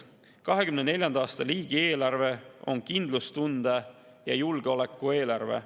2024. aasta riigieelarve on kindlustunde ja julgeoleku eelarve.